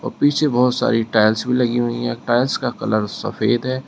पीछे बहुत सारी टाइल्स भी लगी हुई हैं टाइल्स का कलर सफेद है।